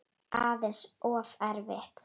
Aðeins of erfitt.